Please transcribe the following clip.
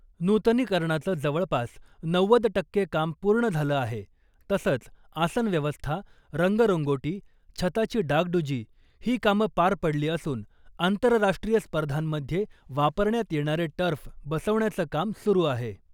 नुतनीकरणाचं जवळपास नव्वद टक्के काम पूर्ण झालं आहे, तसंच आसन व्यवस्था , रंगरंगोटी , छताची डागडुजी ही कामं पार पडली असून आंतरराष्ट्रीय स्पर्धांमध्ये वापरण्यात येणारे टर्फ बसवण्याचं काम सुरू आहे .